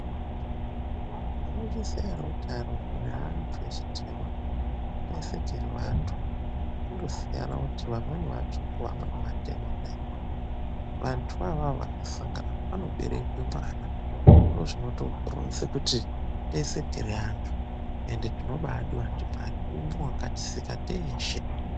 Munoziya ere kuti arungu neantu atema teshe tiri antu kungosiyana kuti vamweni vatsvuku vamweni vatema. Vantuvo vakasangana panoberekwe mwana ndozvinotoronze kuti tiri antu anobaadiwa ndiMwari umwe wakatisika teshe.